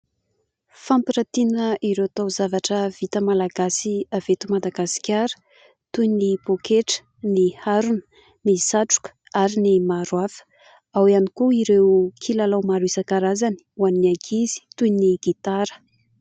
Fampirantiana ireo taozavatra vita malagasy avy eto Madagasikara toy ny pôketra, ny harona, ny satroka ary ny maro hafa. Ao ihany koa ireo kilalao maro isan-karazany ho an'ny ankizy toy ny gitara.